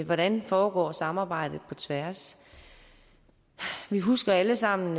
hvordan foregår samarbejdet på tværs vi husker alle sammen